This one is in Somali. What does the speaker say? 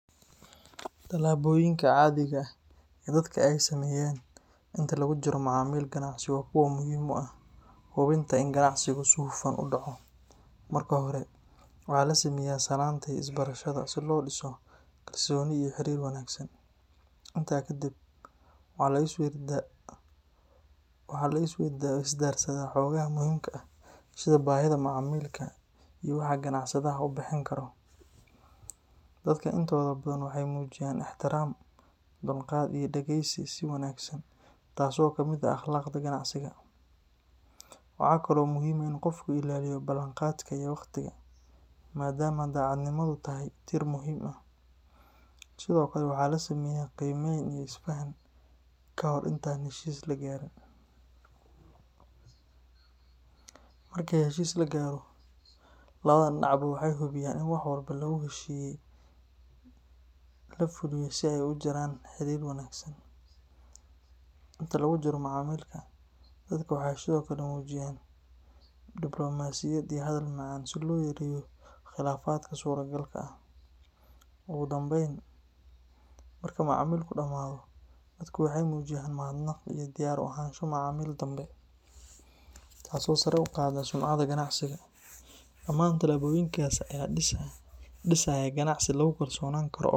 Tallaboyinka caadiga ah ee dadka ay sameeyaan inta lagu jiro macaamil ganacsi waa kuwo muhiim u ah hubinta in ganacsigu si hufan u dhaco. Marka hore, waxaa la sameeyaa salaanta iyo isbarashada si loo dhiso kalsooni iyo xiriir wanaagsan. Intaa kadib, waxaa la isweydaarsadaa xogaha muhiimka ah sida baahida macmiilka iyo waxa ganacsadaha uu bixin karo. Dadka intooda badan waxay muujiyaan ixtiraam, dulqaad iyo dhageysi si wanaagsan, taasoo ka mid ah akhlaaqda ganacsiga. Waxa kale oo muhiim ah in qofku ilaaliyo ballanqaadka iyo wakhtiga, maadaama daacadnimadu tahay tiir muhiim ah. Sidoo kale, waxaa la sameeyaa qiimeyn iyo isfahan ka hor inta aan heshiis la gaarin. Marka heshiis la gaaro, labada dhinacba waxay hubiyaan in wax walba lagu heshiiyey la fuliyo si ay u sii jiraan xidhiidh wanaagsan. Inta lagu jiro macaamilka, dadka waxay sidoo kale muujiyaan diblomaasiyad iyo hadal macaan si loo yareeyo khilaafaadka suuragalka ah. Ugu dambayn, marka macaamilku dhammaado, dadku waxay muujiyaan mahadnaq iyo diyaar u ahaansho macaamil dambe, taasoo sare u qaadda sumcadda ganacsiga. Dhamaan tallaabooyinkaas ayaa dhisaya ganacsi lagu kalsoonaan karo oo waara.